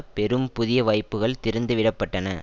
பெரும் புதிய வாய்ப்புக்கள் திறந்து விட பட்டன